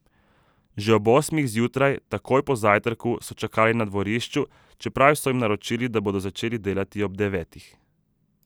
Že ob osmih zjutraj, takoj po zajtrku, so čakali na dvorišču, čeprav so jim naročili, da bodo začeli ob devetih.